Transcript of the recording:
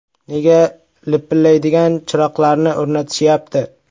“Nega lipillaydigan chiroqlarni o‘rnatishyapti?